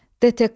DTK.